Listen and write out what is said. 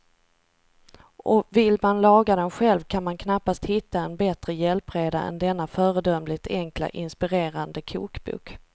Och vill man laga den själv kan man knappast hitta en bättre hjälpreda än denna föredömligt enkla, inspirerande kokbok.